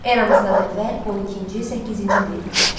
Eramızdan əvvəl 12-ci, səkkizinci min illiklər.